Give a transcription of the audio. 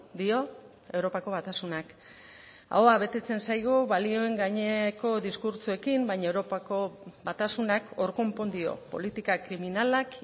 dio europako batasunak ahoa betetzen zaigu balioen gaineko diskurtsoekin baina europako batasunak hor konpon dio politikak kriminalak